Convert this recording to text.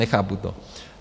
Nechápu to.